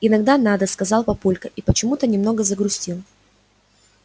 иногда надо сказал папулька и почему-то немного загрустил